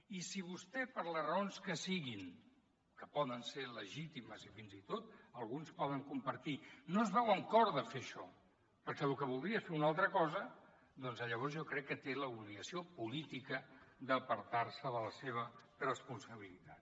i si vostè per les raons que siguin que poden ser legítimes i fins i tot que alguns poden compartir no es veu amb cor de fer això perquè lo que voldria és fer una altra cosa doncs llavors jo crec que té l’obligació política d’apartar se de la seva responsabilitat